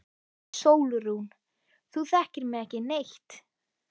SÓLRÚN: Þú þekkir mig ekki neitt.